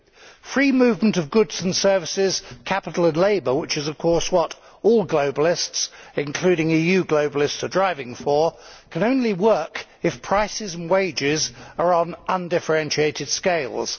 The free movement of goods and services, capital and labour which is of course what all globalists, including EU globalists, are driving for can only work if prices and wages are on undifferentiated scales.